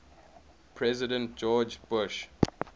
president george bush